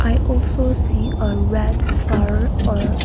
it also see a red flower or--